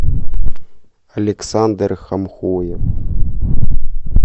александр хамхоев